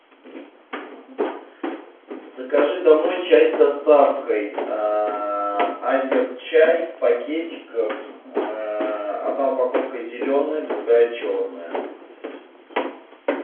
закажи домой чай с доставкой азерчай в пакетиках одна упаковка зеленая другая черная